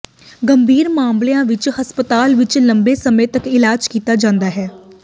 ਗੰਭੀਰ ਮਾਮਲਿਆਂ ਵਿਚ ਹਸਪਤਾਲ ਵਿਚ ਲੰਬੇ ਸਮੇਂ ਤਕ ਇਲਾਜ ਕੀਤਾ ਜਾਂਦਾ ਹੈ